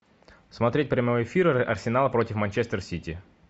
смотреть прямой эфир арсенала против манчестер сити